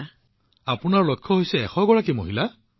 গতিকে আপোনাৰ লক্ষ্য হৈছে ১০০গৰাকী মহিলা